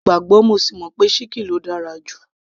mo gbàgbọ́ mo sì mọ̀ pé ṣíkìn ló dára jù